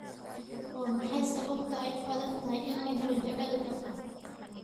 Waa maxay sababta ay u adag tahay in la helo jacayl dhab ah?